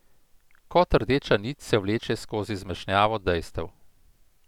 Kot rdeča nit se vleče skozi zmešnjavo dejstev.